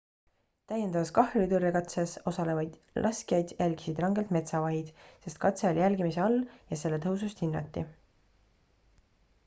täiendavas kahjuritõrjekatses osalevaid laskjaid jälgisid rangelt metsavahid sest katse oli jälgimise all ja selle tõhusust hinnati